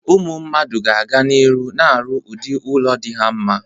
Ụmụ mmadụ ga-aga n'iru na-arụ udị ụlọ dị ha mma.